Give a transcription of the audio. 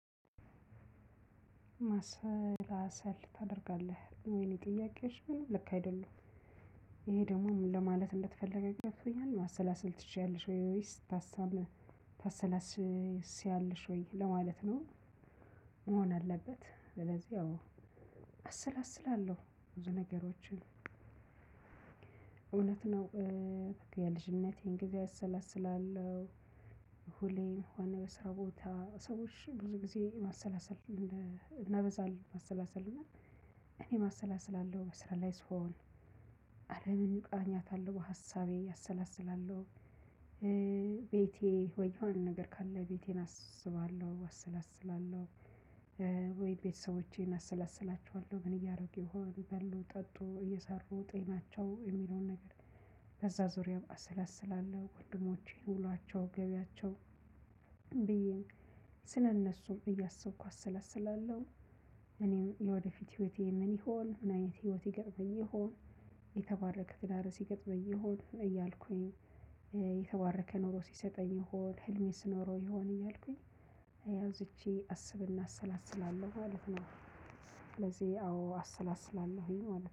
ማሰላሰል ታደርጋለህ የምለው ጥያቄሽ ልክ አይደለም ይሄ ደግሞ ምን ለማለት እንደተፈለገ ገብቶኛል ማሰላሰል ትችያለሽ ወይስ ታስታብ ታሰላስያልሽ ወይ ለማለት ነው? መሆን አለበት ስለዚህ ያው አሰላስላለሁ ብዙ ነገሮችን እውነት ነው። የልጅነቴን ጊዜ አሰላስላለሁ። ሁሌ በሆነ በስራ ቦታ ሰዎች ብዙ ጊዜ ማሰላሰል እናበዛል ማሰላሰል እና እኔ ማሰላሰል አለው በስራ ላይ ስሆን። ሀሰቤ አሳላስለላው። ቤቴ ወይ የሆነ ነገር ካለ ቤቴን አስባለሁ አሰላስላለሁ። ወይ ቤተሰቦቼን አሰላስላቸዋለሁ ምን እያረጉ ይሆን በሉ ጠጡ እየሰሩ ጤናቸው የሚለውን ነገር። ከዛ ዙሪያ አሰላስላለሁ ወንድሞቼ ውሏቸው ገቢያቸው ብዬም ስለእነሱም እያሰብኩ አሰለስላለሁ። እኔም የወደፊት ህይወቴ ምን ይሆን ምን አይነት ህይወት ይገጥመኝ ይሆን። የተባረከ ትዳር ይገጥመኝ የሆን እያልኩኝ የተባረከ ኑሮ ይሰጠኝ ይሆን ህልሜ ስኖረው ይሆን። አንስቼ አስብና አሰላስላለሁ ማለት ነው። ስለዚህ አዎ አሰላስላለሁኝ ማለት ነው